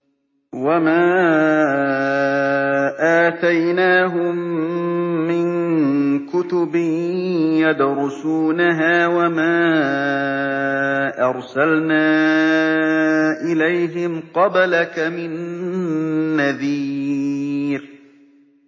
وَمَا آتَيْنَاهُم مِّن كُتُبٍ يَدْرُسُونَهَا ۖ وَمَا أَرْسَلْنَا إِلَيْهِمْ قَبْلَكَ مِن نَّذِيرٍ